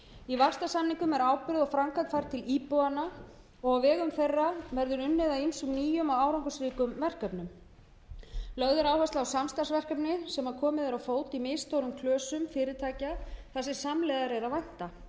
í vaxtarsamningum er ákvæði og framkvæmd þar til íbúanna og á vegum þeirra verður unnið að ýmsum nýjum og árangursríkum verkefnum lögð er áhersla á framtaksverkefni sem komið er á fót í misstórum klösum fyrirtækja þar sem framlegðar er að vænta